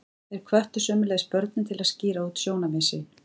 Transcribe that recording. Þeir hvöttu sömuleiðis börnin til að skýra út sjónarmið sín.